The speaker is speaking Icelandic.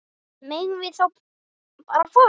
Megum við þá bara fara?